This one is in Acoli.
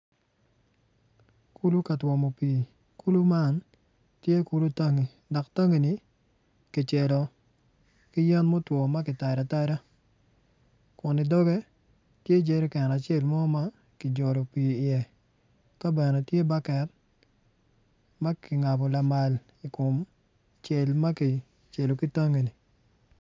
Kulu ka twomo pii kulu man tye kulu tangi dok tangi-ni kicelo ki yen mutwo ma kitado atada kun i doge tye jerican acel mo ma ki jolo pii i iye ka bene tye baket ma kingabo lamal i kom cel ma kicelo ki tangini.